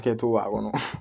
Kɛcogo b'a kɔnɔ